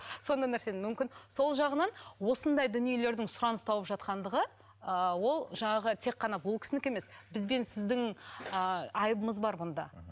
сондай нәрсені мүмкін сол жағынан осындай дүниелердің сұраныс тауып жатқандығы ыыы ол жаңағы тек қана бұл кісінікі емес бізбен сіздің ыыы айыбымыз бар бұнда